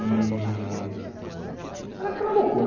E era aquela loucura.